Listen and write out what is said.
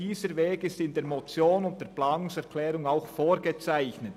Dieser Weg ist in der Motion und in der Planungserklärung auch vorgezeichnet.